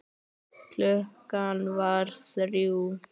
Klukkan var þrjú.